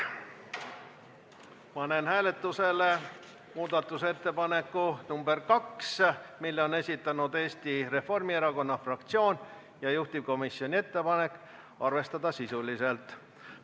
Panen hääletusele muudatusettepaneku nr 2, mille on esitanud Eesti Reformierakonna fraktsioon, ja juhtivkomisjoni ettepanek on arvestada seda sisuliselt.